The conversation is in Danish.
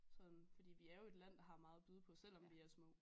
Sådan fordi vi er jo et land der har meget at byde på selvom vi er små